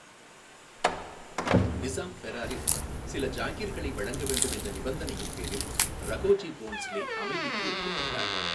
நிசாம், பெராரில் சில ஜாகிர்களை வழங்க வேண்டும் என்ற நிபந்தனையின் பேரில் ரகோஜி போன்ஸ்லே அமைதிக்கு ஒப்புக்கொண்டார்.